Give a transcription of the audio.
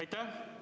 Aitäh!